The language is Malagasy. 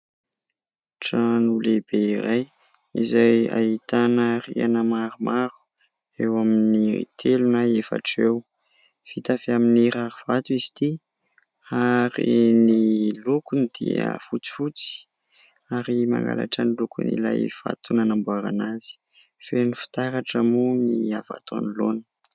Trano lehibe iray izay ahitana rihana maromaro eo amin'ny telo na efatra eo, vita avy amin'ny rarivato izy ity ary ny lokony dia fotsifotsy ary mangalatra ny lokony ilay vato nanamboarana azy, feno fitaratra moa ny avy ato anoloana.